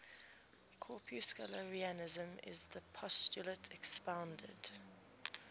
corpuscularianism is the postulate expounded